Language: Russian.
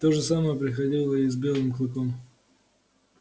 то же самое приходило и с белым клыком